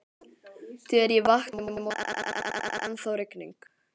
Þegar ég vaknaði í morgun, var ennþá rigning.